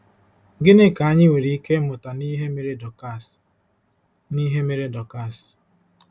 Gịnị ka anyị nwere ike ịmụta n’ihe mere Dọkas n’ihe mere Dọkas?